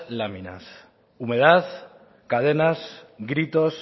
láminas humedad cadenas gritos